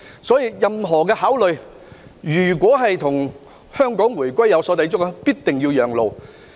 所以，任何的考慮，如果與香港回歸有所抵觸，便必定要讓路。